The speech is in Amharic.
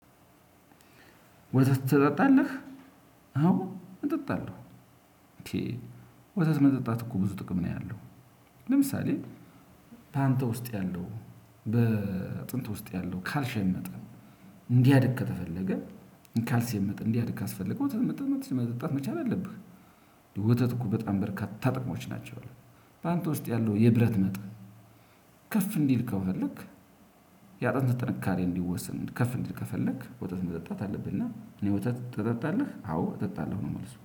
ወተት ትጠጣለህ? አዎ እጠጣለሁ። ወተት መጠጣት እኮ ብዙ ጥቅም ነው ያለው። ለምሳሌ በአንተ ውስጥ ያለው በአጥንት ውስጥ ያለው ካልሸየም መጠን እንዲያድግ ካስፈለገህ ወተት መጠጣት መቻል አለብህ። ወተት እኮ በጣም በርካታ ጥቅሞች ናቸው። በአንተ ውስጥ ያለው የብረት መጠን ከፍ እንዲል ከፈለክ ያጥንት ጥንካሬ እንዲወሰን ከፍ እንዲል ከፈለክ ወጣት መጠጣት አለብህና እኔ ወተት ትጠጣለህ አዎ እጠጣለሁ ነው መልሱ